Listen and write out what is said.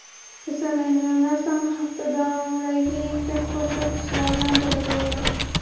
Kasallanganlar soni hafta davomidagi eng past ko‘rsatkichlardan biri bo‘ldi.